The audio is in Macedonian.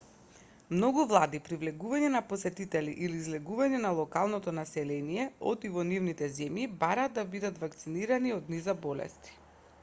многу влади при влегување на посетители или излегување на локалното население од и во нивните земји бараат да бидат вакцинирани од низа болести